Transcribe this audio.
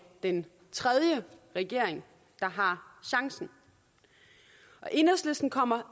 den tredje regering der har chancen enhedslisten kommer